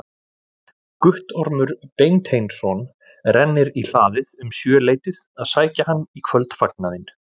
Guttormur Beinteinsson rennir í hlaðið um sjöleytið að sækja hann í kvöldfagnaðinn.